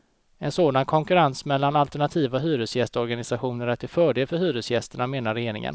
En sådan konkurrens mellan alternativa hyresgästorganisationer är till fördel för hyresgästerna, menar regeringen.